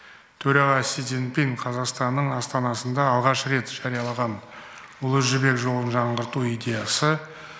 төраға си цзиньпин қазақстанның астанасында алғаш рет жариялаған ұлы жібек жолын жаңғырту идеясы